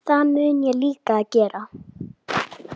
Það mun ég líka gera.